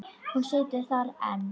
Hún situr þar enn.